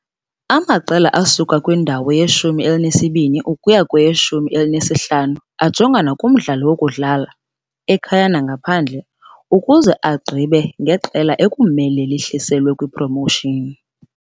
Amaqela asuka kwindawo yeshumi elinesibini ukuya kweyeshumi elinesihlanu ajongana kumdlalo wokudlala, ekhaya nangaphandle, ukuze agqibe ngeqela ekumele lihliselwe kwiPromotion .